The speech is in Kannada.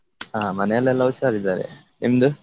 ಹಾ ಮನೇಲೆಲ್ಲ ಹುಷಾರಿದ್ದಾರೆ ನಿಮ್ದು?